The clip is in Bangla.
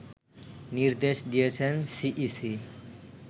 নির্দেশ দিয়েছেন সিইসি